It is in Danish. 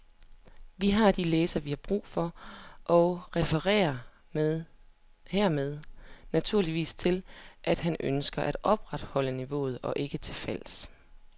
Vi har de læsere, vi har brug for og referer hermed naturligvis til, at han ønsker at opretholde niveauet og ikke er til fals.